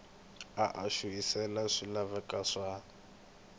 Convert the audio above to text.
a a xurhisile swilaveko swa